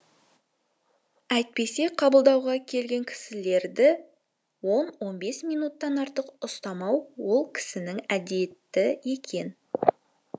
әйтпесе қабылдауға келген кісілерді он он бес минуттан артық ұстамау ол кісінің әдеті екен